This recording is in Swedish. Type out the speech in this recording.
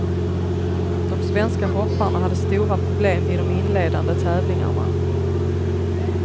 De svenska hopparna hade stora problem i de inledande tävlingarna.